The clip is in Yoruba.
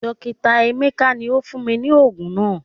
Dokita emeka ni o fun mi ni oogun naa